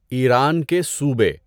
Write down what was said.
ایران کے صوبے